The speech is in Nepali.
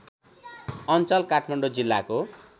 अञ्चल काठमाडौँ जिल्लाको